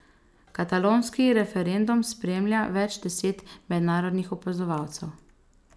Katalonski referendum spremlja več deset mednarodnih opazovalcev.